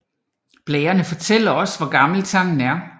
Blærene fortæller også hvor gammel tangen er